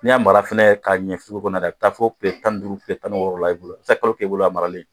N'i y'a mara fana k'a ɲɛ kɔnɔ a bɛ taa fo tile tan ni duuru tile tan ni wɔɔrɔ la i bolo a bɛ se ka kalo kɛ i bolo a maralen